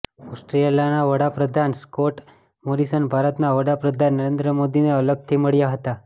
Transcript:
ઓસ્ટ્રેલિયાના વડા પ્રધાન સ્કોટ મોરિસન ભારતના વડા પ્રધાન નરેન્દ્ર મોદીને અલગથી મળ્યા હતા